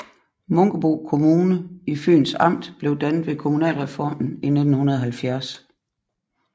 Munkebo Kommune i Fyns Amt blev dannet ved kommunalreformen i 1970